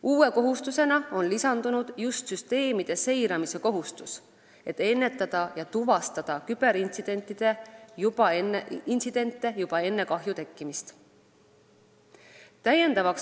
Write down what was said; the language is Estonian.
Uue kohustusena on lisandunud just süsteemide seiramise kohustus, et ennetada ja tuvastada küberintsidente juba enne kahju tekkimist.